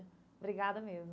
Obrigada mesmo.